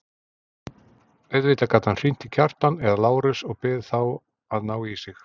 Auðvitað gat hann hringt í Kjartan eða Lárus og beðið þá að ná í sig.